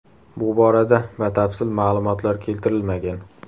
Bu borada batafsil ma’lumotlar keltirilmagan.